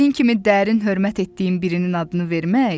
Sizin kimi dərin hörmət etdiyim birinin adını vermək?